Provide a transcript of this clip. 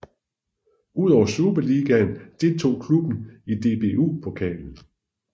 Udover Superligaen deltog klubben i DBU Pokalen